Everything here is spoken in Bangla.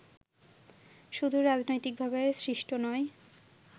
শুধু রাজনৈতিকভাবে সৃষ্ট নয়